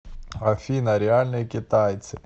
афина реальные китайцы